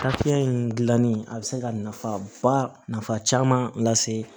in gilanni a bɛ se ka nafaba nafa caman lase